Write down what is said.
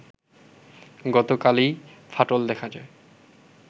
গতকালই ফাটল দেখা যায়